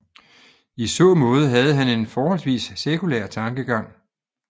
I så måde havde han en forholdsvis sekulær tankegang